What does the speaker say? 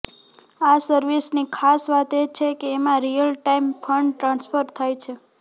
આ સર્વિસની ખાસ વાત એ છે કે એમાં રિયલ ટાઇમ ફંડ ટ્રાન્સફર થાય છે